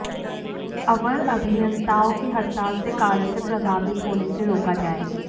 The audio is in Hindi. अवर अभियंताओं की हड़ताल से कार्यों से प्रभावित होने से रोका जाए